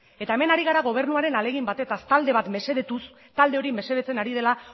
eta hemen ari gara gobernuaren ahalegin batetaz talde bat mesedetuz talde hori mesedetzen ari dela